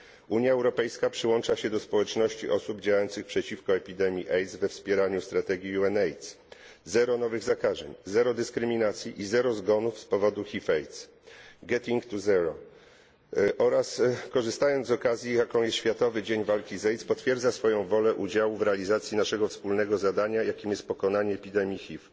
Unia Europejska przyłącza się do społeczności osób działających przeciwko epidemii AIDS we wspieraniu strategii UNAIDS zero nowych zakażeń, zero dyskryminacji i zero zgonów z powodu HIV AIDS Getting to zero oraz, korzystając z okazji, jaką jest Światowy Dzień Walki z AIDS, potwierdza swoją wolę udziału w realizacji naszego wspólnego zadania, jakim jest pokonanie epidemii HIV.